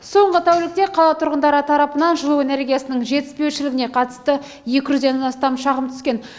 соңғы тәулікте қала тұрғындары тарапынан жылу энергиясының жетіспеушілігіне қатысты екі жүзден астам шағым түскен